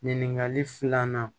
Ɲininkali filanan